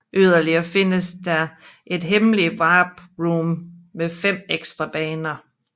Yderligere findes der et hemmeligt Warp Room med fem ekstra baner